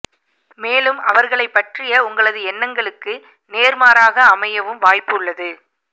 மேலும் அவர்களை பற்றிய உங்களது எண்ணங்களுக்கு நேர்மாறாக அமையவும் வாய்ப்பு உள்ளது